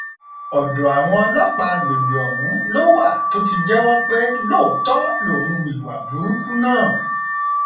ọdọ àwọn ọlọpàá àgbègbè ọhún ló wà tó ti jẹwọ pé lóòótọ lòún hu ìwà burúkú náà